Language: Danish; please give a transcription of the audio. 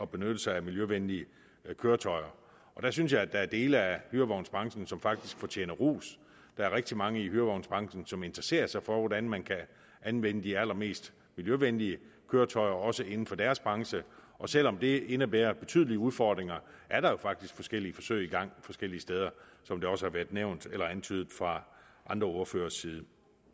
benytte sig af miljøvenlige køretøjer jeg synes at der er dele af hyrevognsbranchen som faktisk fortjener ros der er rigtig mange i hyrevognsbranchen som interesserer sig for hvordan man kan anvende de allermest miljøvenlige køretøjer også inden for deres branche og selv om det indebærer betydelige udfordringer er der jo faktisk forskellige forsøg i gang forskellige steder som det også har været nævnt eller antydet fra andre ordføreres side